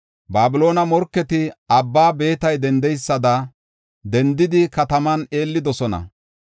Babiloone morketi abba beetay dendeysada dendidi kataman eellidosona.